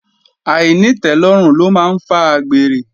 Àìnítẹ́lọ́rùn ló máa ń fa àgbèrè